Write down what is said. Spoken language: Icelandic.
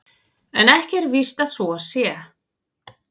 En ekki er víst að svo sé.